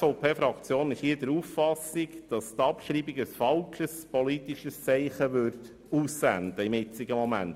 Die SVP-Fraktion ist der Auffassung, dass die Abschreibung gegenwärtig ein falsches politisches Zeichen aussenden würde.